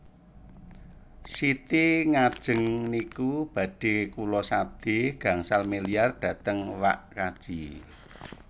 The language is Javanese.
Siti ngajeng niku badhe kula sade gangsal miliar dhateng wak kaji